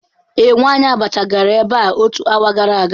Ee, nwanyi abacha gara ebea otu hour gara aga.